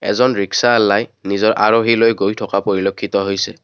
এজন ৰিক্সাআলাই নিজৰ আৰোহী লৈ গৈ থকা পৰিলক্ষিত হৈছে।